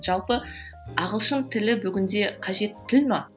жалпы ағылшын тілі бүгінде қажет тіл ме